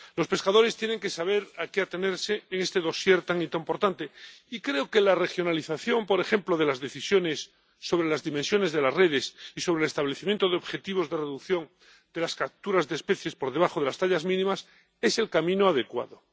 Los pescadores tienen que saber a qué atenerse en este dosier tan importante y creo que la regionalización, por ejemplo, de las decisiones sobre las dimensiones de las redes y sobre el establecimiento de objetivos de reducción de las capturas de especies por debajo de las tallas mínimas es el camino adecuado.